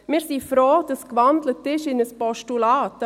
Wir sind froh, dass in ein Postulat gewandelt wurde.